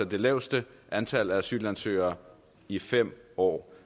det laveste antal asylansøgere i fem år